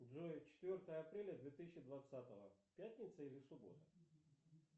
джой четвертое апреля две тысячи двадцатого пятница или суббота